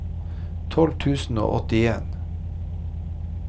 tolv tusen og åttien